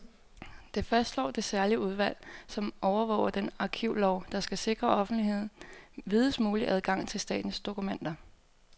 Det fastslår det særlige udvalg, som overvåger den arkivlov, der skal sikre offentligheden videst mulig adgang til statens dokumenter.